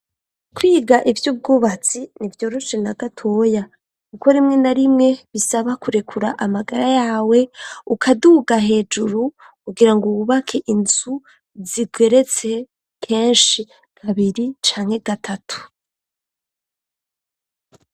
Kwiga ivy'ubwubatsi ntivyoroshe na gatoya kuko rimwe na rimwe bisaba kurekura amagara yawe ukaduga hejuru kugira ngo wubake inzu zigeretse kenshi kabiri canke gatatu.